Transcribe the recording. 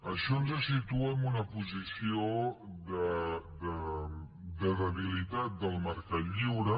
això ens situa en una posició de debilitat del mercat lliure